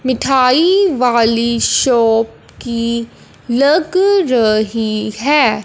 मिठाई वाली शॉप की लग रही है।